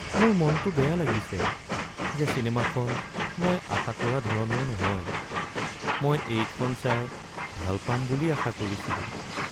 মোৰ মনটো বেয়া লাগিছে যে চিনেমাখন মই আশা কৰা ধৰণৰ নহয়। মই এইখন চাই ভাল পাম বুলি আশা কৰিছিলোঁ।